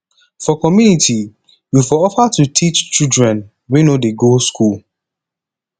for community you for offer to teach children wey no dey go school